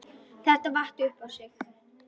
Þetta vatt upp á sig.